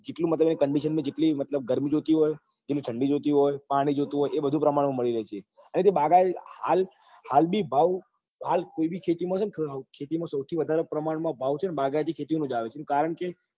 જેટલી મતલબ condition માં મતલબ જેટલી ગરમી જોઈતી હોય જેટલી ઠંડી જોઈતી હોય પાણી જોઈતું હોય એ બધું પ્રમાણ માં મળી રહેતું હોય અને અને તે બાગાય હાલ હાલ બી ભાવ હાલ કોઈ બી ખેતી માં છે ને સૌથી વધરે પ્રમાણ માં ભાવ છે ને બાગાયતી ખેતી અ જ આવે છે કારણ કે